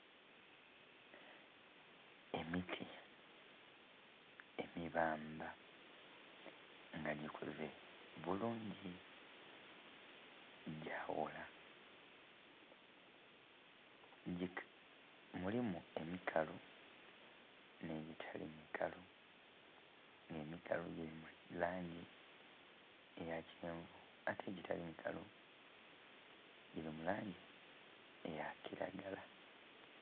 Emiti emibaandha nga gikuze bulungi gyawola. Mulimu emikalu nh'egitali mikalu nga emikalu giri mu langi eya kyenvu ate egitali mikalu giri mu langi eya kiragala